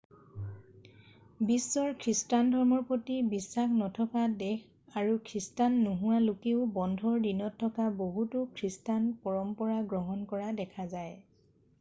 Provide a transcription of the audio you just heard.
বিশ্বৰ খ্ৰীষ্টান ধৰ্মৰ প্ৰতি বিশ্বাস নথকা দেশ আৰু খ্ৰীষ্টান নোহোৱা লোকেও বন্ধৰ দিনত থকা বহুতো খ্ৰীষ্টান পৰম্পৰা গ্ৰহণ কৰা দেখা যায়